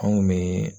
Anw kun bɛ